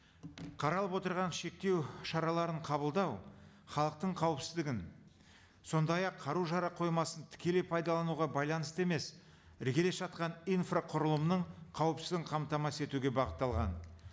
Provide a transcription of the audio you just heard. қаралып отырған шектеу шараларын қабылдау халықтың қауіпсіздігін сондай ақ қару жарақ қоймасын тікелей пайдалануға байланысты емес іргелес жатқан инфрақұрылымның қауіпсіздігін қамтамасыз етуге бағытталған